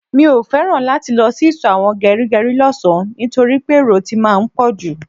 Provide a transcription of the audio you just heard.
Mio feran láti lọ sí iso àwọn gerigeri lọ sàn nitoripe èrò tí máa ń poju